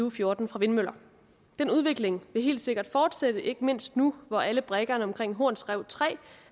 og fjorten fra vindmøller den udvikling vil helt sikkert fortsætte ikke mindst nu hvor alle brikkerne omkring horns rev tre